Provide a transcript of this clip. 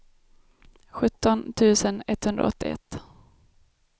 sjutton tusen etthundraåttioett